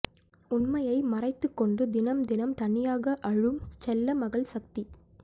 உண்மையை மறைத்துக் கொண்டு தினம் தினம் தனியாக அழும் செல்லமகள் சக்தி